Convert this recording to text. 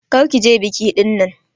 Kar ki je biki dinnan!